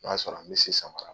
O y'a sɔrɔ an be se samara